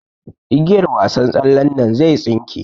Igiyar wasar tsallen nan zai tsinke.